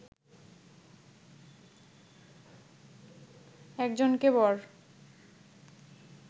একজনকে বর